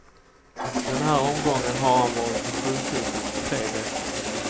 Den här omgången har han varit på sjukhuset tre veckor.